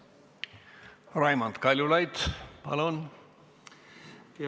Raimond Kaljulaid, palun!